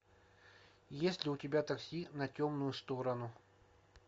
есть ли у тебя такси на темную сторону